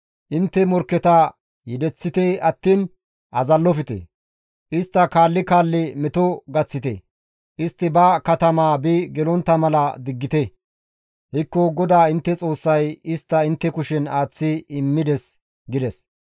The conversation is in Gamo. Intte morkketa yedeththite attiin azallofte; istta kaalli kaalli meto gaththite; istti ba katamaa bi gelontta mala diggite; hekko GODAA intte Xoossay istta intte kushen aaththi immides» gides.